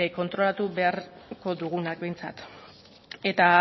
kontrolatu beharko dugunak behintzat eta